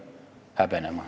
Aitäh!